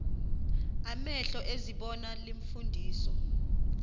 amehlo ezibona iimfundiso